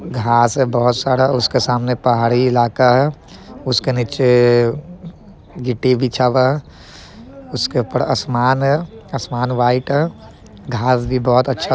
घास है बहुत सारा उसके सामने पहाड़ी इलाका है उसके नीचे गिट्टी बिछा हुआ है उसके ऊपर आसमान है आसमान व्हाइट है घास भी बहुत अच्छा --